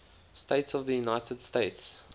states of the united states